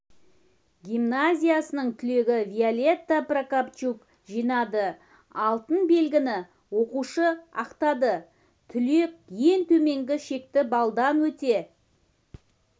гимназиясының түлегі виолетта прокопчук жинады алтын белгіні оқушы ақтады түлек ең төменгі шекті балдан өте